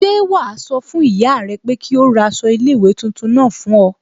Ṣẹ́ wàá sọ fún ìyá rẹ pé kí ó ra aṣọ iléèwé tuntun náà fún ọ